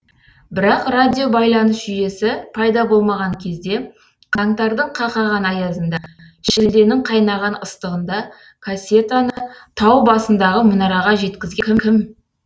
бірақ радиобайланыс жүйесі пайда болмаған кезде қаңтардың қақаған аязында шілденің қайнаған ыстығында кассетаны тау басындағы мұнараға жеткізген кім